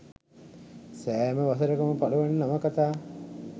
සෑම වසරක ම පළවන නවකථා